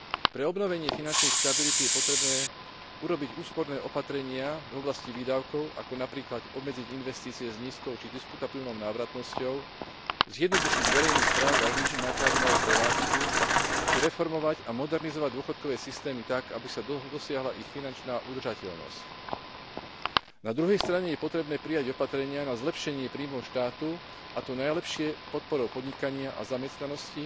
Pre obnovenie finančnej stability je potrebné urobiť úsporné opatrenia v oblasti výdavkov, ako napríklad obmedziť investície s nízkou či diskutabilnou návratnosťou, zjednodušiť verejnú správu a znížiť náklady na jej prevádzku či reformovať a modernizovať dôchodkové systémy tak, aby sa dosiahla ich finančná udržateľnosť. Na druhej strane je potrebné prijať opatrenia na zlepšenie príjmov štátu, a to najlepšie podporou podnikania a zamestnanosti,